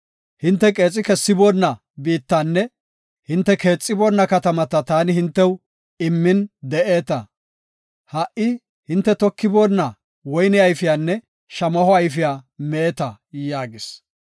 Hinte qeexi kessiboonna biittanne hinte keexiboonna katamata taani hintew immin de7eeta. Ha77i hinte tokiboonna woyne ayfiyanne shamaho ayfiya meeta’ ” yaagees.